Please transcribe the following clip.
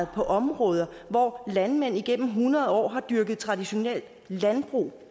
på områder hvor landmænd igennem hundrede år har dyrket traditionelt landbrug